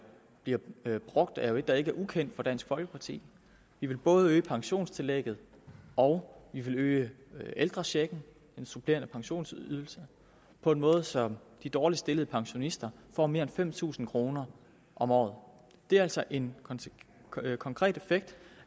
brugt er jo et der ikke er ukendt for dansk folkeparti vi vil både øge pensionstillægget og øge ældrechecken den supplerende pensionsydelse på en måde så de dårligst stillede pensionister får mere end fem tusind kroner om året det er altså en konkret effekt